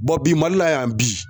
bi Mali la yan bi